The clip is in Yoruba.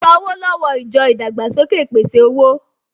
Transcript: Lọ gba owó lọ́wọ́ ìjọ ìdàgbàsókè ìpèsè-owó!